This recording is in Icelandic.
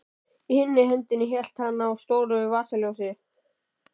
Í hinni hendinni hélt hann á stóru vasaljósi.